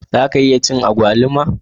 Za a iya ci agwaluma?